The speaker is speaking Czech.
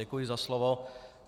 Děkuji za slovo.